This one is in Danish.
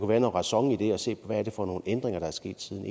være noget ræson i at se på hvad det er for nogle ændringer der er sket siden